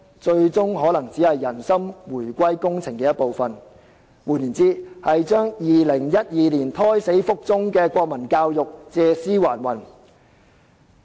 這最終可能只是"人心回歸工程"的一部分，換言之，讓2012年胎死腹中的國民教育借屍還魂。